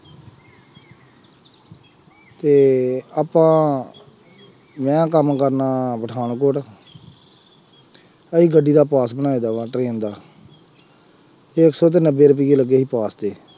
ਅਤੇ ਆਪਾਂ ਮੈੰ ਕੰਮ ਕਰਦਾ ਪਠਾਨਕੋਟ ਅਸੀ ਗੱਡੀ ਦਾ ਪਾਸ ਬਣਾਏ ਦਾ ਵਾ, train ਦਾ, ਅਤੇ ਇੱਕ ਸੌ ਅਤੇ ਨੱਬੇ ਰੁਪਈਏ ਲੱਗੇ ਸੀ ਪਾਸ ਦੇ,